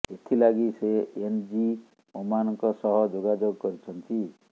ଏଥିଲାଗି ସେ N G ଓମାନଙ୍କ ସହ ଯୋଗାଯୋଗ କରିଛନ୍ତି